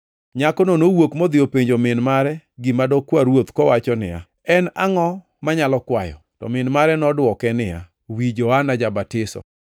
Nyakono nowuok modhi openjo min mare gima dokwa ruoth kowacho niya, “En angʼo manyalo kwayo?” To min mare nodwoke niya, “Wi Johana Ja-batiso.”